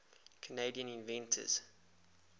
canadian inventors